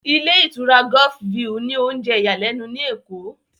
Ilé ìtura Golf view ní oúnjẹ ìyàlẹ́nu ní Èkó